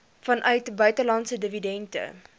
vanuit buitelandse dividende